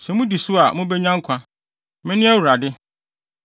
Sɛ mudi so a, mubenya nkwa. Mene Awurade.